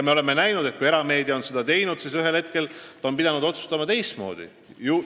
Me oleme näinud, et kui erameedia on seda ka teinud, siis on ta ühel hetkel pidanud otsustama teistmoodi.